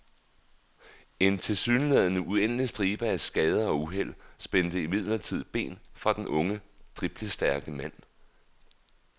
En tilsyneladende uendelig stribe af skader og uheld spændte imidlertid ben for den unge, driblestærke mand.